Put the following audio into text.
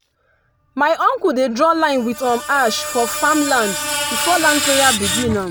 my uncle dey draw line with um ash for farm land before land prayer begin. um